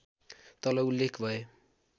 तल उल्लेख भए